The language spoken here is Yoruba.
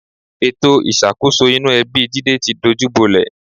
Ètò ìṣàkóso inú ẹbi Jídé ti dojúbolẹ̀